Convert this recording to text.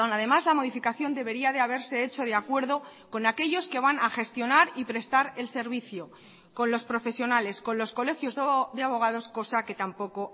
además la modificación debería de haberse hecho de acuerdo con aquellos que van a gestionar y prestar el servicio con los profesionales con los colegios de abogados cosa que tampoco